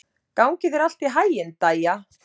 Gangi þér allt í haginn, Dæja.